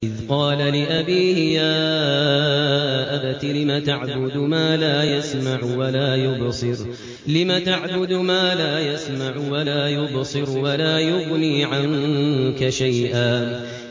إِذْ قَالَ لِأَبِيهِ يَا أَبَتِ لِمَ تَعْبُدُ مَا لَا يَسْمَعُ وَلَا يُبْصِرُ وَلَا يُغْنِي عَنكَ شَيْئًا